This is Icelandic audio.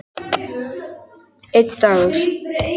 Einn dagur!